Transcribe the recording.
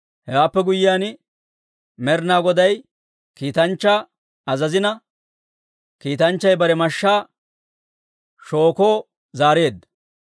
Hewaappe guyyiyaan, Med'inaa Goday kiitanchchaa azazina, kiitanchchay bare mashshaa shookoo zaareedda.